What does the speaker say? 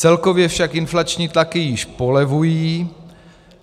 Celkově však inflační tlaky již polevují.